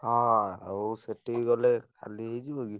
ହଁ ଆଉ ସେଠିକି ଗଲେ ଖାଲି ହେଇଯିବ କି?